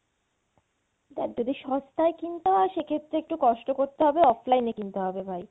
দেখ যদি সস্তায় কিনতে হয় সেক্ষেত্রে একটু কষ্ট করতে হবে offline এ কিনতে হবে ভাই।